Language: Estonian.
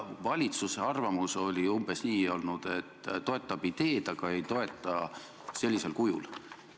Valitsuse arvamus oli umbes nii olnud, et ta toetab ideed, aga ei toeta sellisel kujul.